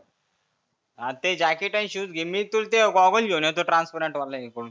हा ते जॅकेट आणि शुज घे मी तुला ते गॉगल घेऊन येतो ट्रांसपरंट वाला.